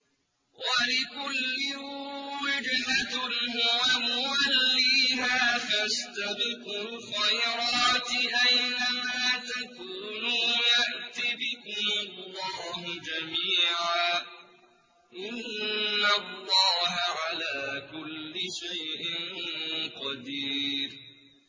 وَلِكُلٍّ وِجْهَةٌ هُوَ مُوَلِّيهَا ۖ فَاسْتَبِقُوا الْخَيْرَاتِ ۚ أَيْنَ مَا تَكُونُوا يَأْتِ بِكُمُ اللَّهُ جَمِيعًا ۚ إِنَّ اللَّهَ عَلَىٰ كُلِّ شَيْءٍ قَدِيرٌ